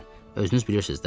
Özünüz bilirsiz də.